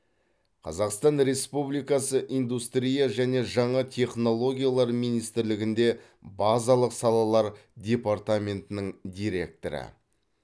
қазақстан республикасы индустрия және жаңа технологиялар министрлігінде базалық салалар департаментінің директоры